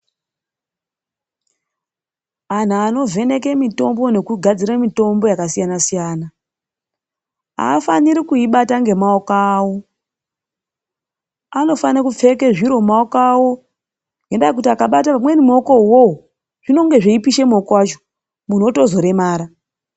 Antu anovheneke mitombo nekugadzire mitombo yakasiyana siyana . Haafaniri kuibata ngemaoko awo. Anofanira kupfeke zviro mumaoko awo, ngendaa yekuti akabata pamweni mumaokowo, zvinonge zveipisha maoko acho, zvimweni muntu otozoremara.